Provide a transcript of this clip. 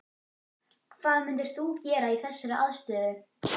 Hvað myndir þú gera í þessari aðstöðu?